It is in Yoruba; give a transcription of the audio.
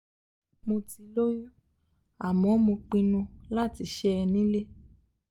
mo ti lóyún àmọ́ mo pinnu láti ṣẹ́ ẹ nílé